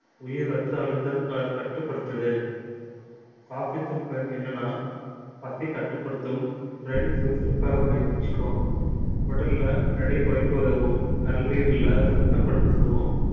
உயர் ரத்த அழுத்தம் க~ கட்டுப்படுத்தது coffee தூள் பயன் என்னன்னா பசி கட்டுப்படுத்தும் brain சுறுசுறுப்பாக வயது~ வச்சுக்கும் உடல்ல எடை குறைக்க உதவும் கல்லீரல்ல சுத்தப்படுத்தவும்